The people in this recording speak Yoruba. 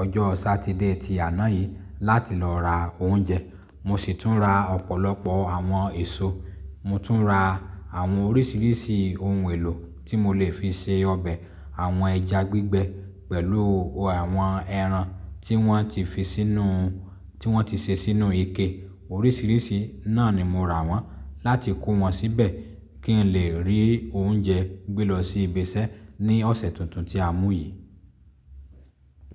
ọjọ́ Saturday ti àná yìí láti lọ ra oúnjẹ. Mo sì tún ra ọ̀pọ̀lọpọ̀ àwọn èso. Mo tún ra àwọn oríṣiríṣi ohun èlò tí mo lè fi ṣe ọbẹ̀, àwọn ẹja gbígbẹ pẹ̀lú àwọn ẹran tí wọ́n ti fi sínú, tí wọ́n ti ṣe sínú ike. Oríṣiríṣi náà ni mo rà wọ́n láti kó wọn síbẹ̀ kí n lè rí oúnjẹ gbé lọ sí ibi iṣẹ́ ní ọ̀sẹ̀ tuntun tí a mú yìí.